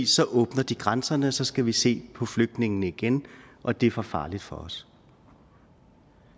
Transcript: så åbner de grænserne og så skal vi se på flygtningene igen og det er for farligt for os